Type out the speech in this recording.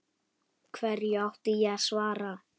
Hverju átti ég að svara.